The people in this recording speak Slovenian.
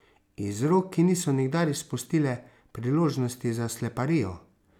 Iz rok, ki niso nikdar izpustile priložnosti za sleparijo.